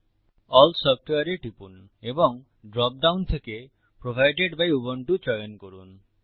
all সফটওয়ারে এ টিপুন এবং ড্রপ ডাউন থেকে প্রভাইডেড বাই উবুন্টু চয়ন করুন